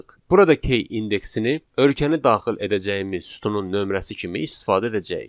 Burada k indeksini ölkəni daxil edəcəyimiz sütunun nömrəsi kimi istifadə edəcəyik.